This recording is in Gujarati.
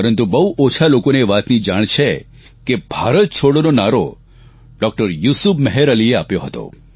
પરંતુ બહુ ઓછા લોકો એ વાત જાણે છે કે ભારત છોડોનો નારો ડૉકટર યુસુફ મેહર અલીએ આપ્યો હતો